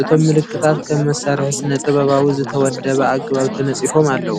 እቶም ምልክታት ከም መሳርሒ ስነ-ጥበባዊ ብዝተወደበ ኣገባብ ተነጺፎም ኣለዉ።